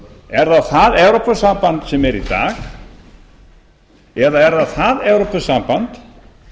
er það það evrópusamband sem er í dag eða er það það evrópusamband